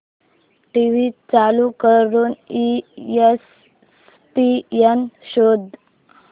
TV चालू करून ESPN शोध